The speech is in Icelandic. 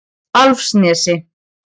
Álfsnesi